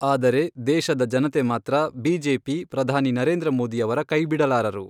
ಆದರೆ, ದೇಶದ ಜನತೆ ಮಾತ್ರ ಬಿಜೆಪಿ, ಪ್ರಧಾನಿ ನರೇಂದ್ರ ಮೋದಿಯವರ ಕೈ ಬಿಡಲಾರರು.